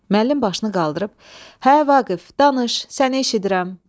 Müəllim başını qaldırıb: "Hə, Vaqif, danış, səni eşidirəm" dedi.